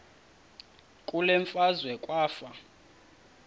kule meazwe kwafa